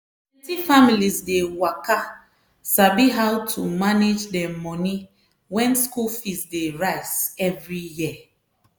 plenti families dey waka sabi how to manage dem money wen school fees dey rise every year.